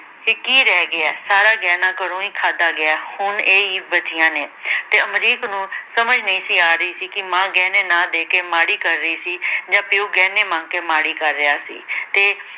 ਤੇ ਕੀ ਰਹਿ ਗਿਆ, ਸਾਰਾ ਗਹਿਣਾ ਘਰੋਂ ਹੀ ਖਾਦਾ ਗਿਆ, ਹੁਣ ਇਹ ਹੀ ਬਚੀਆਂ ਨੇ ਤੇ ਅਮਰੀਕ ਨੂੰ ਸਮਝ ਨਈ ਸੀ ਆ ਰਹੀ ਕਿ ਮਾਂ ਗਹਿਣੇ ਨਾ ਦੇਕੇ ਮਾੜੀ ਕਰ ਰਹੀ ਸੀ ਜਾਂ ਪਿਓ ਗਹਿਣੇ ਮੰਗ ਕੇ ਮਾੜੀ ਕਰ ਰਿਹਾ ਸੀ ਤੇ